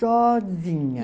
Sozinha.